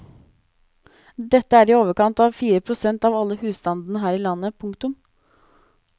Dette er i overkant av fire prosent av alle husstandene her i landet. punktum